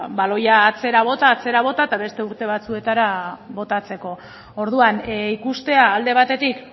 ba baloia atzera bota atzera bota eta beste urte batzuetara botatzeko orduan ikustea alde batetik